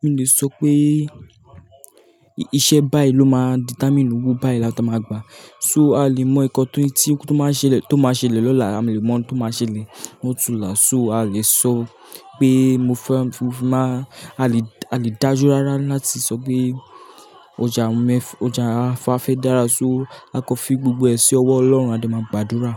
mo ò lè sọ pé iṣẹ́ báyiì ló máa determine owó báyiì láta máa gbà. So, a olè mọ ǹkan tí ó máa ṣeẹlẹ̀ lọ́la, a olè mọ ǹkan tó máa ṣẹlẹ̀ lọ́túnla. So, a olè sọ pé mo fẹ́ máa-- a lè dájú rárá láti sọ pé ọjà wa fafẹ́ dára, so a kò fi gbogbo ẹ ṣi ọwọ́ Ọlọ́run, a de máa gbàdúrà.